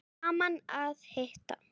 Gaman að hitta